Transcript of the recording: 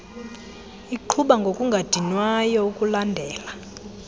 iqhuba ngokungadinwayo ukulandela